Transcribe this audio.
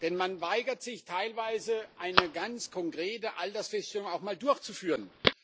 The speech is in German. Denn man weigert sich teilweise, eine ganz konkrete Altersfeststellung auch mal durchzuführen.